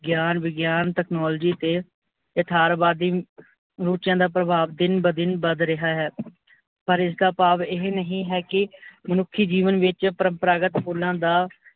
ਗਿਆਨ ਵਿਗਿਆਨ technology ਤੇ ਇਥਾਰਵਾਦੀ ਰੁਚਿਆ ਦਾ ਭਰਵਾਵ ਦਿਨ ਬ ਦਿਨ ਵੱਧ ਰਿਹਾ ਹੈ। ਪਰ ਇਸ ਦਾ ਭਾਵ ਇਹ ਨਹੀਂ ਹੈ ਕੀ ਮਨੁੱਖੀ ਜੀਵਨ ਵਿੱਚ ਪਰਮਪ੍ਰਾਗਤ ਅਸੂਲਾਂ ਦਾ